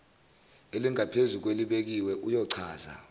elingaphezulu kwelibekiwe uyochaza